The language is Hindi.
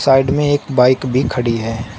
साइड में एक बाइक भी खड़ी है।